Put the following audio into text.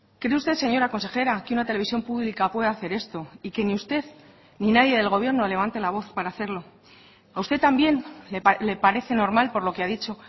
cree usted señora consejera que una televisión pública puede hacer esto y que ni usted ni nadie del gobierno levante la voz para hacerlo a usted también le parece normal por lo que ha dicho